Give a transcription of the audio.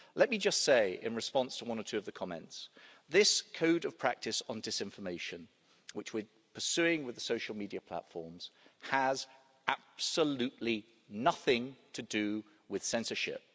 Let me just say, in response to one or two of the comments, that this Code of Practice on Disinformation which we are pursuing with the social media platforms has absolutely nothing to do with censorship.